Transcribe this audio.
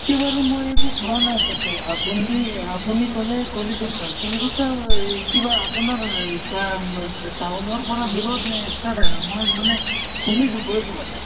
কে বাৰু মই একো খোৱা নাই তাতে, আপোনি আপোনি কʼলে কলিকত্তা কলিকত্তা এই কিবা আপোনাৰ town ৰ পৰা দূৰত নে মই মানে শুনিছো গৈ পোৱা নাই